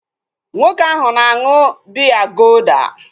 Nwoke ahu na aṅụ biya golda